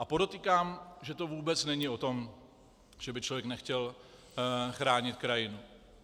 A podotýkám, že to vůbec není o tom, že by člověk nechtěl chránit krajinu.